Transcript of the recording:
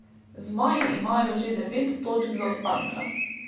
Zmaji imajo že devet točk zaostanka.